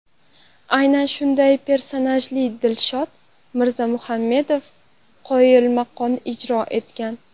Aynan shunday personajni Dilshod Mirzamurodov qoyilmaqom ijro etgan.